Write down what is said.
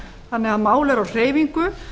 þannig að málið er á hreyfingu